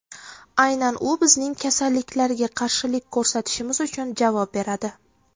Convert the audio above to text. Aynan u bizning kasalliklarga qarshilik ko‘rsatishimiz uchun javob beradi!